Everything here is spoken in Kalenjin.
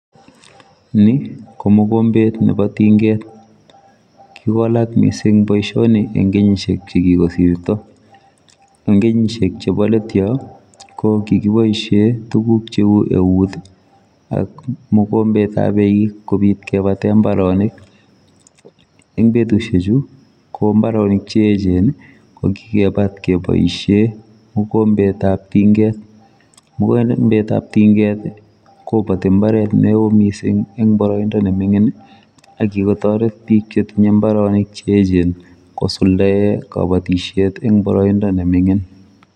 Ni ko mogombeet nebo tingeet , kikowalak missing boisioni en betusiek che kikosirto ,en kenyisiek chebo let Yoon ko kikibaishen ak mogombeet ab eig kobiit kebateeen mbaronik en betusiek chuu ko mbaronik che eecheen ko kikebaat kebaisheen mogombeet ab tingeet mogombeet ab tingeet ii kobatii mbaret ne wooh missing en baraindaa ne mingiin ii ak ye katoreet biik che tinyei mbaronik che eecheen kosuldaen kabatisyeet eng baraindaa ne mingiin.